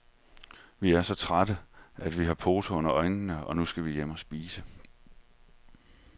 Vi er så trætte, at vi har poser under øjnene, og nu skal vi hjem og spise.